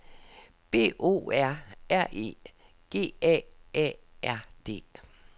B O R R E G A A R D